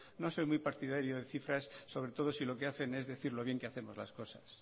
no soy muy partidario de cifras sobre todo si lo que hacen es decir lo bien que hacemos las cosas